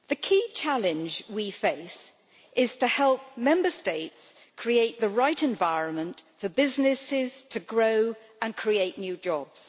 Madam President, the key challenge we face is to help Member States create the right environment for businesses to grow and create new jobs.